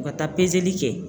U ka taa peseli kɛ